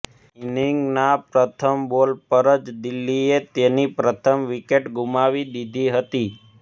ઇનીંગના પ્રથમ બોલ પર જ દિલ્હીએ તેની પ્રથમ વિકેટ ગુમાવી દીધી હતી